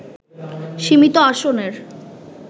সীমিত আসনের